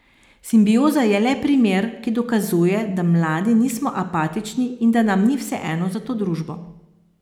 Simbioza je le primer, ki dokazuje, da mladi nismo apatični in da nam ni vseeno za to družbo.